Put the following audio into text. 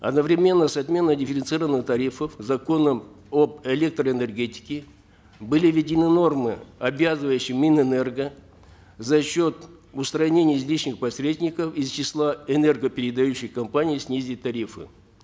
одновременно с отменой дифференцированных тарифов законом об электроэнергетике были введены нормы обязывающие минэнерго за счет устранения излишних посредников из числа энергопередающих компаний снизить тарифы